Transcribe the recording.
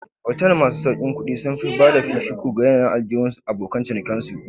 Otal masu sauƙin kuɗi sun fi bada fifiko ga yanayin aljihun abokan cinikin su